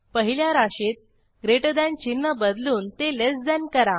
पहिल्या राशीत greater than चिन्ह बदलून ते लेस थान करा